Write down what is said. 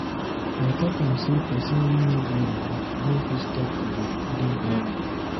I talk am sey pesin wey no go rehab no fit stop to dey do drug.